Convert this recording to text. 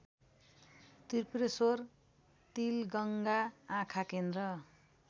Tripureshwor Tilganga आँखाकेन्द्र